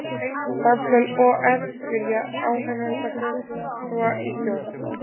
Starfsmenn OR vilja áheyrnarfulltrúa í stjórn